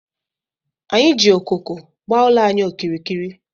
Anyị ji okooko gbaa ụlọ anyị okirikiri.